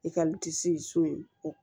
I ka so in o